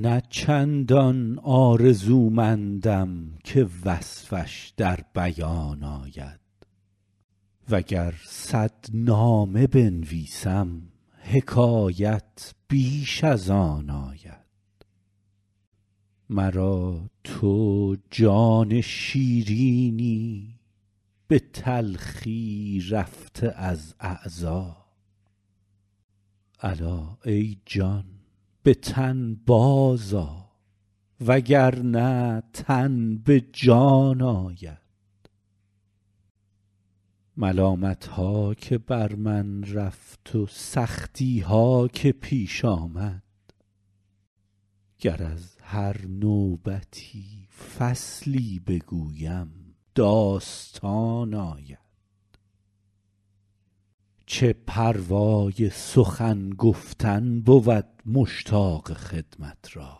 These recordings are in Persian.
نه چندان آرزومندم که وصفش در بیان آید و گر صد نامه بنویسم حکایت بیش از آن آید مرا تو جان شیرینی به تلخی رفته از اعضا الا ای جان به تن بازآ و گر نه تن به جان آید ملامت ها که بر من رفت و سختی ها که پیش آمد گر از هر نوبتی فصلی بگویم داستان آید چه پروای سخن گفتن بود مشتاق خدمت را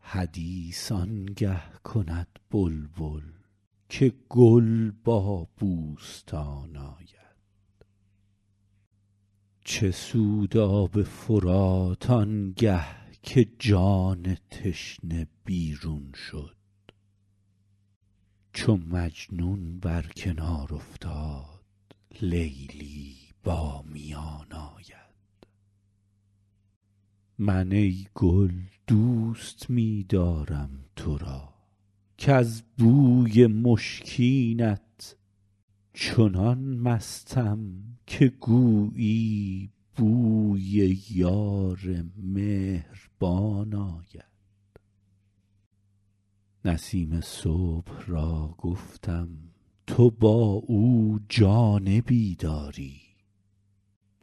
حدیث آن گه کند بلبل که گل با بوستان آید چه سود آب فرات آن گه که جان تشنه بیرون شد چو مجنون بر کنار افتاد لیلی با میان آید من ای گل دوست می دارم تو را کز بوی مشکینت چنان مستم که گویی بوی یار مهربان آید نسیم صبح را گفتم تو با او جانبی داری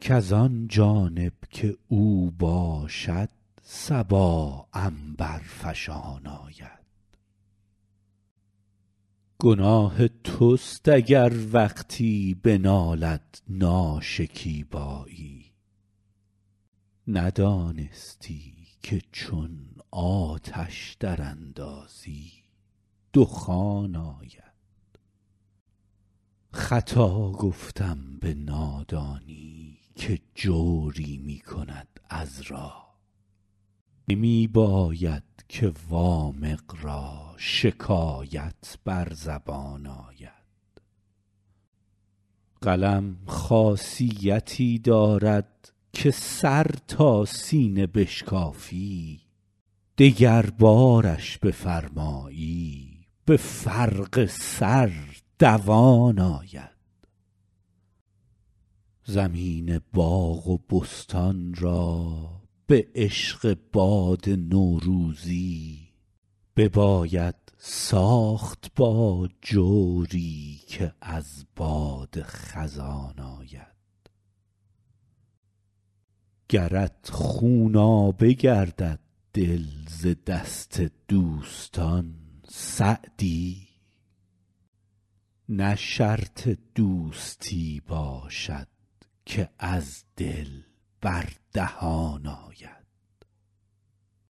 کز آن جانب که او باشد صبا عنبرفشان آید گناه توست اگر وقتی بنالد ناشکیبایی ندانستی که چون آتش دراندازی دخان آید خطا گفتم به نادانی که جوری می کند عذرا نمی باید که وامق را شکایت بر زبان آید قلم خاصیتی دارد که سر تا سینه بشکافی دگربارش بفرمایی به فرق سر دوان آید زمین باغ و بستان را به عشق باد نوروزی بباید ساخت با جوری که از باد خزان آید گرت خونابه گردد دل ز دست دوستان سعدی نه شرط دوستی باشد که از دل بر دهان آید